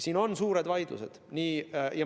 Siin on suured vaidlused.